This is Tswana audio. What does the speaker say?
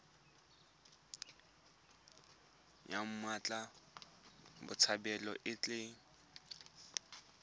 ya mmatla botshabelo e tla